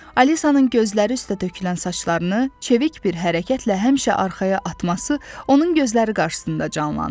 Alisanın gözləri üstə tökülən saçlarını çevik bir hərəkətlə həmişə arxaya atması onun gözləri qarşısında canlandı.